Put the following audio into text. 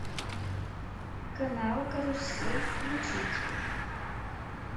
канал карусель включить